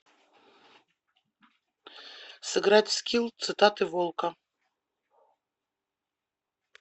сыграть в скилл цитаты волка